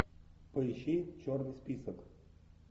поищи черный список